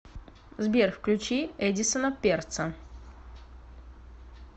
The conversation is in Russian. сбер включи эдисона перца